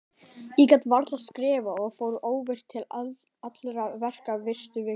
Ég gat varla skrifað og var óvirkur til allra verka fyrstu vikuna.